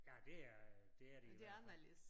Ja det er det er de i hvert fald